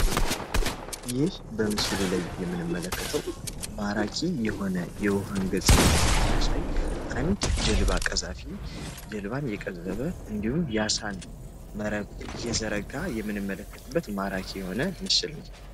ይህ በምስሉ ላይ የምንመለከተው ማራኪ የሆነ የውሃን ገፅታ የሚያሳይ አንድ ጀልባ ቀዛፊ ጀልባን እየቀዘፈ የአሳን መረብ እየዘረጋ ያለ ምስል ነው።